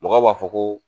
Mɔgɔw b'a fɔ ko